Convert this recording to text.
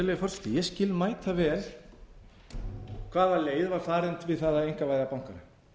virðulegi forseti ég skil mætavel hvað leið var farin við það að einkavæða bankana